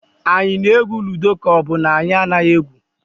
Anyị na-egwu ludo ka ọ bụ na anyị anaghị egwu?